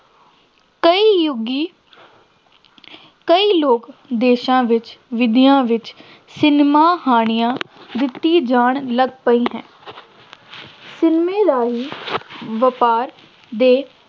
ਕਈ ਯੁੱਗੀ ਕਈ ਲੋਕ ਦੇਸ਼ਾਂ ਵਿੱਚ, ਵਿੱਦਿਆ ਵਿੱਚ ਸਿਨੇਮਾ ਹਾਣੀਆਂ ਦਿੱਤੀ ਜਾਣ ਲੱਗ ਪਈ ਹੈ ਸਿਨੇਮਾ ਰਾਹੀਂ ਵਪਾਰ ਦੇ